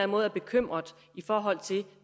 måde er bekymret i forhold til